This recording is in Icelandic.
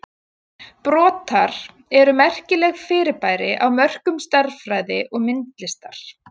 Brotar eru merkilegt fyrirbæri á mörkum stærðfræði og myndlistar.